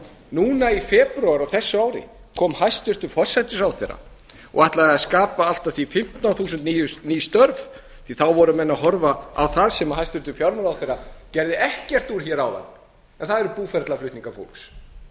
núna í febrúar á þessu ári kom hæstvirtur forsætisráðherra og ætlaði að skapa allt að því fimmtán þúsund ný störf því þá voru menn að horfa á það sem hæstvirtur fjármálaráðherra gerði ekkert úr áðan en það eru búferlaflutningar fólks